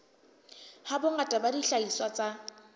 ha bongata ba dihlahiswa tsa